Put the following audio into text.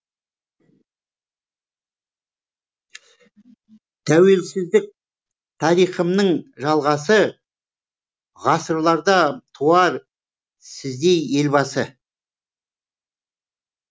тәуелсіздік тарихымның жалғасы ғасырларда туар сіздей елбасы